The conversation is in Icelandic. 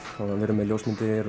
við erum með ljósmyndir